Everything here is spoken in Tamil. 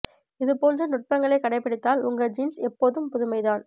இது போன்ற நுட்பங்களை கடைபிடித்தால் உங்கள் ஜீன்ஸ் எப்போதும் புதுமை தான்